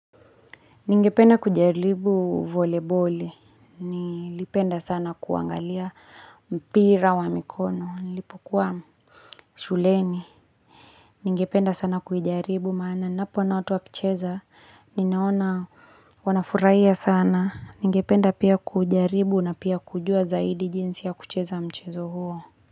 Ningependa kujaribu volebole, nilipenda sana kuangalia mpira wa mikono, nilipokuwa shuleni. Ningependa sana kujaribu, maana napo ona watu wa kicheza, ninaona wanafuhia sana. Ningependa pia kujaribu na pia kujua zaidi jinsi ya kucheza mchezo huo.